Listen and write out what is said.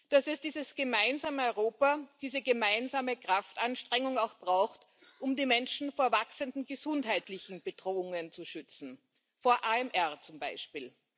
dass es dieses gemeinsame Europa, diese gemeinsame Kraftanstrengung auch braucht, um die Menschen vor wachsenden gesundheitlichen Bedrohungen zu schützen vor AMR zum Beispiel.